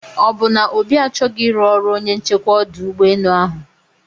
ọbụ na obi achọghị iru ọrụ onye nchekwa ọdụ ụgbọ enu ahụ?